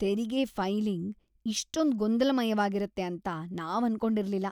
ತೆರಿಗೆ ಫೈಲಿಂಗ್‌ ಇಷ್ಟೊಂದ್ ಗೊಂದಲಮಯವಾಗಿರತ್ತೆ ಅಂತ ನಾವ್ ಅನ್ಕೊಂಡಿರ್ಲಿಲ್ಲ!